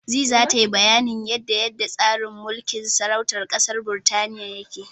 Zee tana bayanin yanda yanda tsarin mulkin sarautar ƙasar Birtaniya yake.